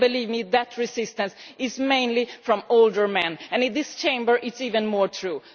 Believe me that resistance is mainly from older men, and in this Chamber that is even more true.